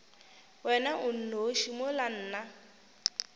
wena o nnoši mola nna